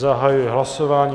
Zahajuji hlasování.